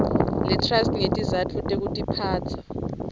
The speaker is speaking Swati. letrust ngetizatfu tekutiphatsa